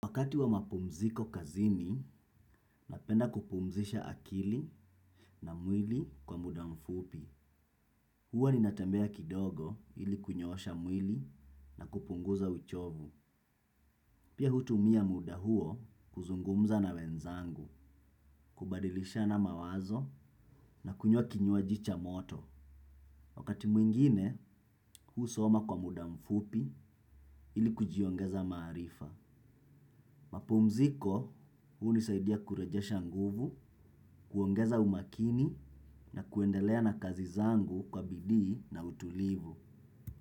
Wakati wa mapumziko kazini, napenda kupumzisha akili na mwili kwa muda mfupi. Hua ninatambea kidogo ili kunyoosha mwili na kupunguza uchovu. Pia hutumia muda huo kuzungumza na wenzangu, kubadilishana mawazo na kunywa kinywaji cha moto. Wakati mwingine, husoma kwa muda mfupi ili kujiongeza maarifa. Mapumziko hunisaidia kurejesha nguvu, kuongeza umakini na kuendelea na kazi zangu kwa bidii na utulivu.